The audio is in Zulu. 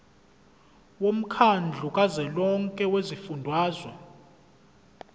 womkhandlu kazwelonke wezifundazwe